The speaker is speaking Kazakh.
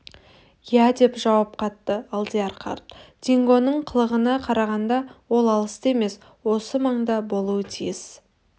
иә деп жауап қатты алдияр қарт дингоның қылығына қарағанда ол алыста емес осы маңда болуға тиіс